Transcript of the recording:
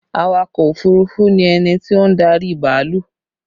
Awakọ̀ òfurufú ni ẹni tí ó ń darí bàálù